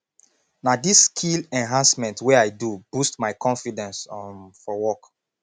na dis skill enhancement wey i do boost my confidence um for work